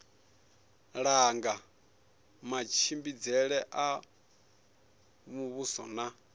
langa matshimbidzele a muvhuso na